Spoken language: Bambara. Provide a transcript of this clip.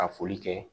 Ka foli kɛ